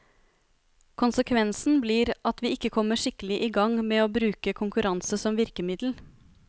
Konsekvensen blir at vi ikke kommer skikkelig i gang med å bruke konkurranse som virkemiddel.